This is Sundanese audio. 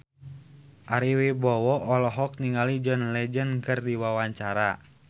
Ari Wibowo olohok ningali John Legend keur diwawancara